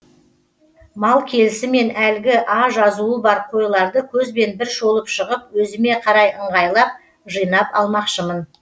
мал келісімен әлгі а жазуы бар қойларды көзбен бір шолып шығып өзіме қарай ыңғайлап жыйнап алмақшымын